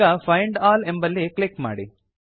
ಈಗ find all ಎಂಬಲ್ಲಿ click ಮಾಡಿ